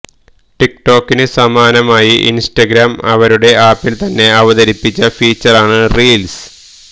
ടിക്ടോക്കിന് സമാനമായി ഇൻസ്റ്റഗ്രാം അവരുടെ ആപ്പിൽ തന്നെ അവതരിപ്പിച്ച ഫീച്ചറാണ് റിൽസ്